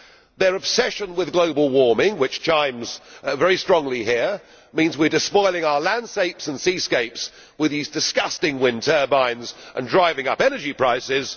Their obsession with global warming, which chimes very strongly here, means we are despoiling our landscapes and seascapes with these disgusting wind turbines and driving up energy prices.